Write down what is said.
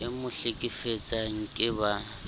e mo hlekefetsang ke ba